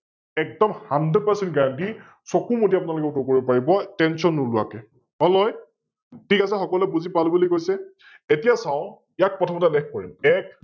একদম HundredPercentGuarantee চকু মুদি আপোনালোকে উত্তৰ কৰিব পাৰিব Tention নোলোৱাকৈ ঠিক আছে! সকলোৱে বুজি পালো বুলি কৈছে, এতিয়া চাও ইয়াত প্ৰথমতে উল্লেখ কৰিম এক